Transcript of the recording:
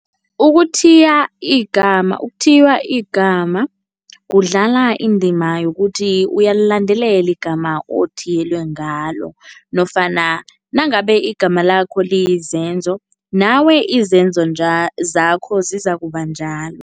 Ukuthiya igama, ukuthiywa igama kudlala indima yokuthi uyalilandelela igama othiyelwe ngalo nofana nangabe igama lakho liyizenzo, nawe izenzo zakho zizakuba njalo.